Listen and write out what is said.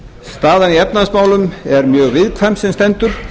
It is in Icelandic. staðan í efnahagsmálum er mjög viðkvæm sem stendur